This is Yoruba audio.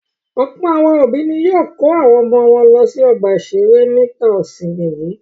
Ọ̀pọ̀ àwọn òbí ni yóò kó àwọn ọmọ wọn lọ sí ọgbà-ìṣeré nígbà ìsìnmi yìí.